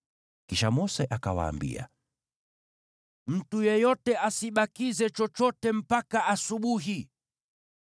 Kisha Mose akawaambia, “Mtu yeyote asibakize chochote mpaka asubuhi.”